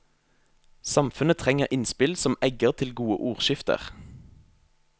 Samfunnet trenger innspill som egger til gode ordskifter.